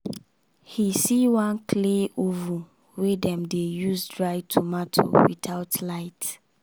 he see one clay oven wey dem dey use dry tomato without light.